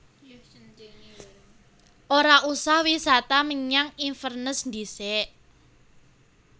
Ora usah wisata menyang Inverness ndhisik